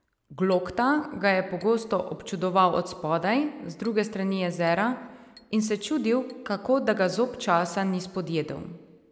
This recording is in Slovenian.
Glokta ga je pogosto občudoval od spodaj, z druge strani jezera, in se čudil, kako da ga zob časa ni spodjedel.